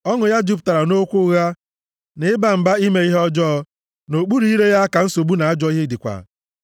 Ọnụ ya jupụtara nʼokwu ụgha na ịba mba ime ihe ọjọọ, + 10:7 Ya bụ, ịgba iyi nʼokpuru ire ya ka nsogbu na ajọ ihe dịkwa.